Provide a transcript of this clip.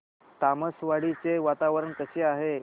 तामसवाडी चे वातावरण कसे आहे